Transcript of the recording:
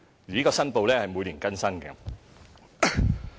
有關的申報須每年更新。